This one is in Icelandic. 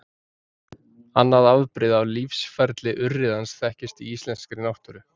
Annað afbrigði af lífsferli urriðans þekkist í íslenskri náttúru.